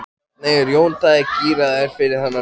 Hvernig er Jón Daði gíraður fyrir þann leik?